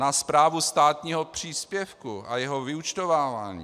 Na správu státního příspěvku a jeho vyúčtovávání.